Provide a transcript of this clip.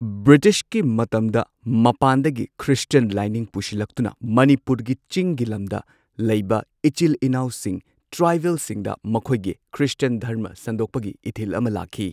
ꯕ꯭ꯔꯤꯇꯤꯁꯀꯤ ꯃꯇꯝꯗ ꯃꯄꯥꯟꯗꯒꯤ ꯈ꯭ꯔꯤꯁꯇꯤꯌꯟ ꯂꯥꯏꯅꯤꯡ ꯄꯨꯁꯤꯜꯂꯛꯇꯨꯅ ꯃꯅꯤꯄꯨꯔꯒꯤ ꯆꯤꯡꯒꯤ ꯂꯝꯗ ꯂꯩꯕ ꯏꯆꯤꯜ ꯏꯅꯥꯎꯁꯤꯡ ꯇ꯭ꯔꯥꯏꯕꯦꯜꯁꯤꯡꯗ ꯃꯈꯣꯏꯒꯤ ꯈ꯭ꯔꯤꯁꯇꯥꯟ ꯙꯔꯃ ꯁꯟꯗꯣꯛꯄꯒꯤ ꯏꯊꯤꯜ ꯑꯃ ꯂꯥꯛꯈꯤ꯫